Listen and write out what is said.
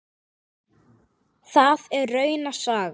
Það er rauna saga.